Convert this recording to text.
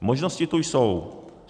Možnosti tu jsou.